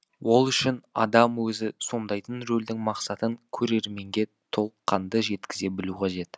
ол үшін адам өзі сомдайтын рөлдің мақсатын көрерменге толыққанды жеткізе білу қажет